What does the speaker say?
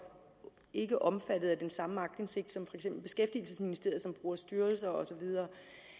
ikke omfattet af den samme aktindsigt som for eksempel beskæftigelsesministeriet som bruger styrelser og så videre